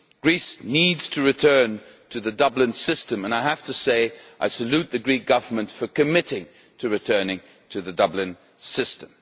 Greece needs to return to the Dublin system, and I have to say that I salute the Greek Government for committing to returning to the Dublin system.